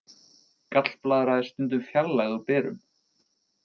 Gallblaðra er stundum fjarlægð úr berum.